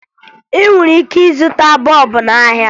Ị nwere ike ịzụta bọọbụ n'ahịa